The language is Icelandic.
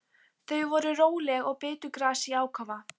Þau voru róleg og bitu gras í ákafa.